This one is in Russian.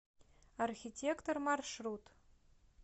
архитектор маршрут